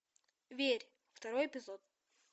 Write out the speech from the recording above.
верь второй эпизод